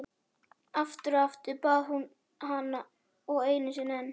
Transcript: Aftur og aftur, bað hún og einu sinni enn.